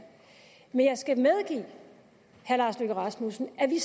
men jeg skal medgive herre lars løkke rasmussen at vi